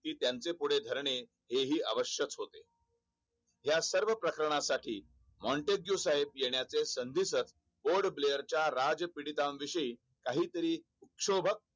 या सर्व प्रकारण्यासाठी माँटेक्ससाहेब येण्याचे संदेहशह GOLDPLAYER च्या राजपिडीतानविषयी काहीतरी शोभाक कि त्याचे पुढे धरणे हे ही आवश्यक होते.